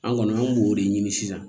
An kɔni an b'o de ɲini sisan